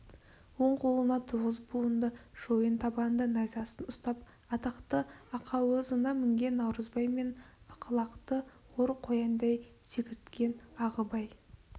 оң қолына тоғыз буынды шойын табанды найзасын ұстап атақты ақауызына мінген наурызбай мен ақылақты ор қояндай секірткен ағыбай